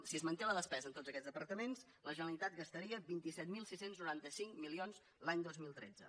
si es manté la despesa en tots aquests departaments la generalitat gastaria vint set mil sis cents i noranta cinc milions l’any dos mil tretze